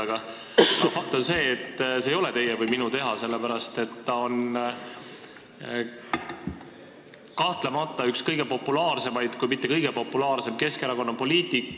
Aga fakt on see, et see ei ole teie või minu teha, sellepärast et ta on kahtlemata üks kõige populaarsemaid, kui mitte kõige populaarsem Keskerakonna poliitik.